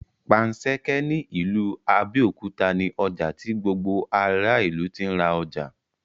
Panṣẹ́kẹ́ ní ìlú Abẹ́òkúta ní ọjà tí gbogbo ará ìlú tí ń ra ọjà